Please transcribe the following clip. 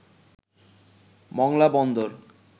Mongla Bandar